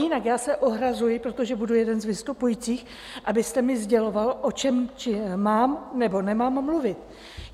Jinak já se ohrazuji, protože budu jeden z vystupujících, abyste mi sděloval, o čem mám nebo nemám mluvit.